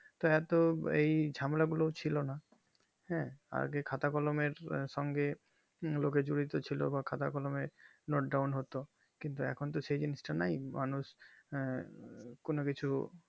তা এত এই ঝামেলা গুলো ছিল না হ্যাঁ আগে খাতা কলমের সঙ্গে লোকচুর করছিলো বা খাতা কলমের ডাউন হতো কিন্তু এখন তো আর সেই জিনিস তা আর নেই মানুষ আঃ কোনো কিছু